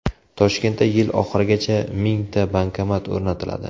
Toshkentda yil oxirigacha mingta bankomat o‘rnatiladi.